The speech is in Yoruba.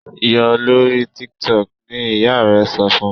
yọ lórí TikTok! ni ìyá rè so fún